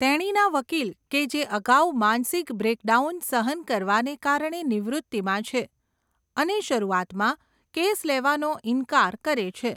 તેણીના વકીલ કે જે અગાઉ માનસિક બ્રેકડાઉન સહન કરવાને કારણે નિવૃત્તિમાં છે, અને શરૂઆતમાં કેસ લેવાનો ઇનકાર કરે છે.